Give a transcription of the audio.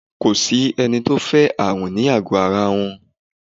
Ko sí ẹni tó fẹ́ ààrùn ní àgọ ara rẹ̀